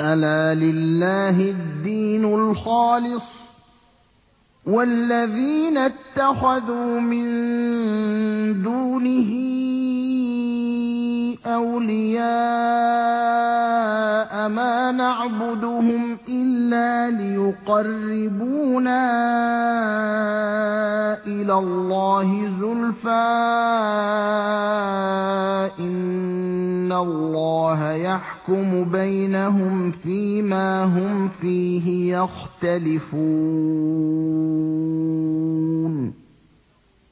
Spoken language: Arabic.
أَلَا لِلَّهِ الدِّينُ الْخَالِصُ ۚ وَالَّذِينَ اتَّخَذُوا مِن دُونِهِ أَوْلِيَاءَ مَا نَعْبُدُهُمْ إِلَّا لِيُقَرِّبُونَا إِلَى اللَّهِ زُلْفَىٰ إِنَّ اللَّهَ يَحْكُمُ بَيْنَهُمْ فِي مَا هُمْ فِيهِ يَخْتَلِفُونَ ۗ